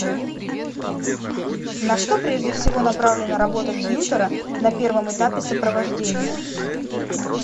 на что прежде всего направлена работа тьютора на первом этапе сопровождения